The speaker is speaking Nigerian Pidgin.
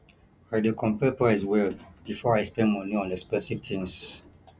i dey compare price well before i spend money on expensive things